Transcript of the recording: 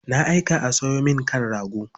Na aika a sayo min kan rago.